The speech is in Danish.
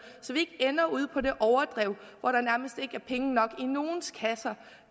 så vi ikke ender ude på det overdrev hvor der nærmest ikke er penge nok i nogens kasser